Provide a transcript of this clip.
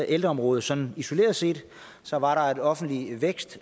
ældreområdet sådan isoleret set så var der en offentlig vækst